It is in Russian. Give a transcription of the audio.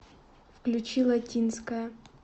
включи латинская